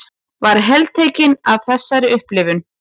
Var heltekin af þessari upplifun.